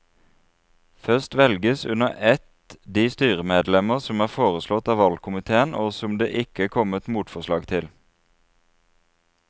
Først velges under ett de styremedlemmer som er foreslått av valgkomiteen og som det ikke er kommet motforslag til.